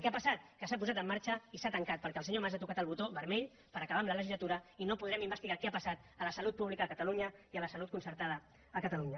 què ha passat que s’ha posat en marxa i s’ha tancat perquè el senyor mas ha tocat el botó vermell per acabar la legislatura i no podrem investigar què ha passat a la salut pública a catalunya i a la salut concertada a catalunya